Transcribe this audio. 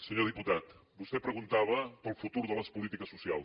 senyor diputat vostè preguntava pel futur de les polítiques socials